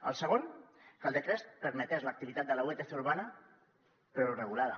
el segon que el decret permetés l’activitat de la vtc urbana però regulada